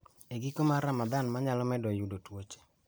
e giko mar Ramadhan ma nyalo medo yudo tuoche.